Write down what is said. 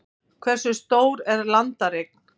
Hversu stór er landareign?